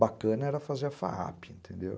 Bacana era fazer a fa a pê, entendeu?